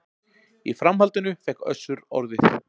Í framhaldinu fékk Össur orðið